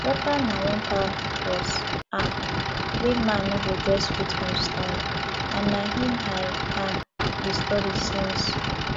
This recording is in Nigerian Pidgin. water na one powerful force um wey man no go just fit understand and na im i um dey study since